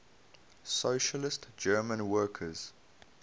socialist german workers